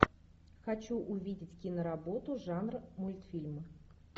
хочу увидеть киноработу жанра мультфильмы